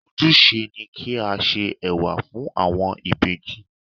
Ojúse ni kí á se Ẹ̀wà fún àwọn ìbejì.